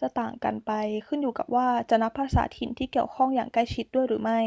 จะต่างกันไป ขึ้นอยู่กับว่าจะนับภาษาถิ่นที่เกี่ยวข้องอย่างใกล้ชิดด้วยหรือไม่